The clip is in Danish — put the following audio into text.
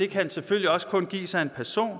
kan selvfølgelig også kun gives af en person